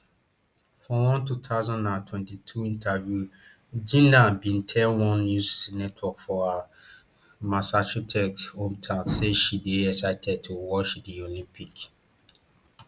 for one two thousand and twenty-two interview jinna bin tell one news network for her massachusetts hometown say she dey excited to watch di olympics